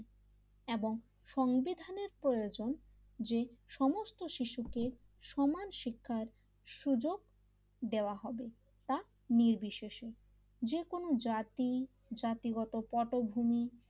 এবং সংবিধানের প্রয়োজন যে সমস্ত শিশুকে সমাজ শিক্ষার সুযোগ দেওয়া হবে তা নির্বিশেষে যেকোনো জাতি জাতিগত পটভূমি,